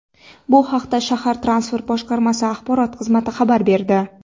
Bu haqda shahar Transport boshqarmasi axborot xizmati xabar berdi.